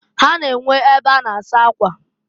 Ha na-enwe e be a na -asa akwa.